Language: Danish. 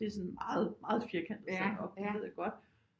Det er sådan meget meget firkantet sat op det ved jeg godt